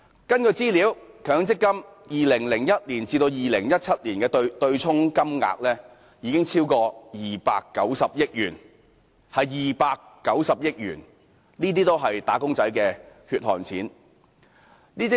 根據資料顯示，強積金在2010年至2017年的對沖金額超過290億元，這290億元是"打工仔女"的"血汗錢"。